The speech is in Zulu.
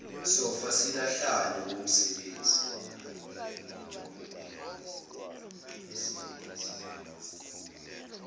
sofa silahlane womsebenzi